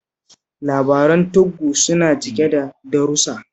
Labaran tuggu suna cike da darussa